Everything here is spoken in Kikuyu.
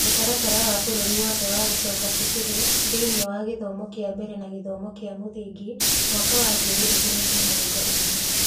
Mũtaratara wa bũrũri wothe wa gũcoka cukuru thĩinĩ wa gĩthomo kĩa mbere na gĩthomo kĩa mũthingi (mwaka wa ngiri igĩrĩ na mĩrongo ĩĩrĩ)